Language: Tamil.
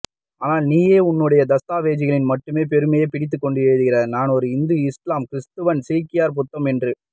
ஆனால் நீயோ உன்னுடைய தஸ்தாவேஜ்களில் மட்டுமே பெருமை பீத்திக்கொண்டு எழுதுகிறாய் நானொரு இந்து இஸ்லாம் கிறிஸ்தவன் சீக்கியர் புத்தம் என்று